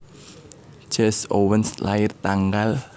Jesse Owens lair tanggal